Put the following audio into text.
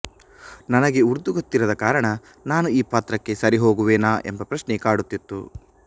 ನನಗೆ ಉರ್ದು ಗೊತ್ತಿರದ ಕಾರಣ ನಾನು ಈ ಪಾತ್ರಕ್ಕೆ ಸರಿಹೋಗುವೆನಾ ಎಂಬ ಪ್ರಶ್ನೆ ಕಾಡುತ್ತಿತ್ತು